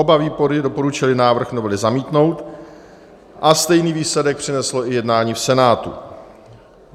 Oba výbory doporučily návrh novely zamítnout a stejný výsledek přineslo i jednání v Senátu.